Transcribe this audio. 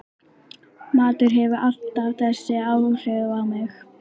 Matur hefur alltaf þessi áhrif á mig